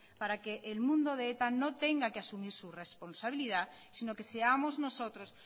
para que el mundo de eta no tenga que asumir su responsabilidad sino que seamos nosotros